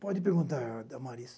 Pode perguntar, Damaris.